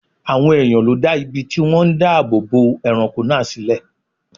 Àwọn èèyàn ló dá ibi tí wọ́n ń dáàbò bo ẹranko náà sílẹ̀